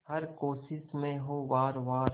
हर कोशिश में हो वार वार